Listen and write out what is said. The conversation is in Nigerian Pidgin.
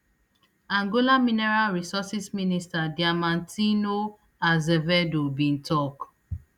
angola mineral resources minister diamantino azevedo bin tok